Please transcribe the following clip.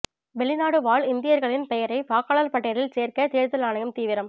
வெளிநாடு வாழ் இந்தியர்களின் பெயரை வாக்காளர் பட்டியலில் சேர்க்க தேர்தல் ஆணையம் தீவிரம்